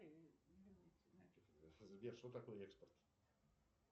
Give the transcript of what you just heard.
сбер что такое экспорт